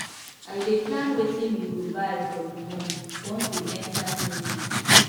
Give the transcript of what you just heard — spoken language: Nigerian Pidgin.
i dey plan wetin we go buy for di month once we enta new month